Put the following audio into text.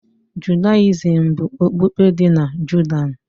Judayizim bụ okpukpe dị na Judah